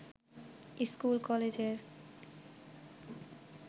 স্কুল-কলেজের